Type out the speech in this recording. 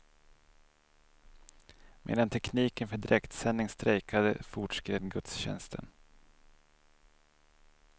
Medan tekniken för direktsändning strejkade fortskred gudstjänsten.